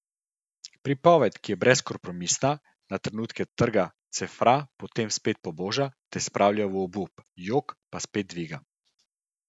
Pripoved, ki je brezkompromisna, na trenutke trga, cefra, potem spet poboža, te spravlja v obup, jok, pa spet dviga.